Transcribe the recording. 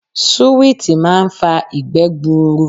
Suwiti máa ń fa ìgbẹ́ gbuuru.